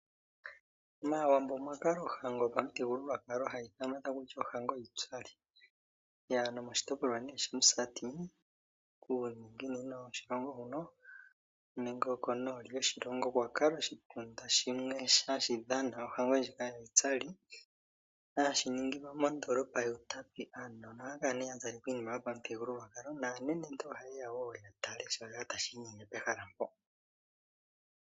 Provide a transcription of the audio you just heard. MAawambo omwa kala ohango yomuthigululwakalo hayi ithanwa kutya ohango yiitsali, nomoshitopolwa shaMusati kuuninginino woshilongo nenge konooli yoshilongo okwa kala oshitunda shimwe hashi dhana ohango ndjika yiitsali hashi ningilwa mondoolopa yUutapi. Aantu ohaya kala nduno ya zala iinima yomuthigululwakalo naanenentu ohaye ya nduno ya tale shoka tashi inyenge pehala mpoka.